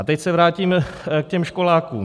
A teď se vrátím k těm školákům.